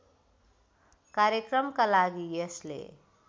कार्यक्रमका लागि यसले